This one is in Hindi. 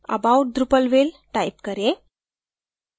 about drupalville type करें